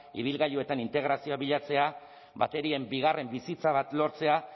ibilgailuetan integrazioa bilatzea baterien bigarren bizitza bat lortzea